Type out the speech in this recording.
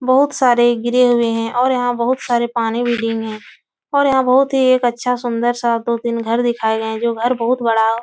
बहोत बहु सारे गिरे हुए हैं ओर यहाँ बहोत सारे पानी विली में है और यहाँ बहोत ही एक अच्छा सुन्दर सा दोतीन घर दिखाये गये हैं जो घर बहोत बड़ा --